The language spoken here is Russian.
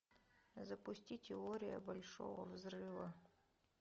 запусти теория большого взрыва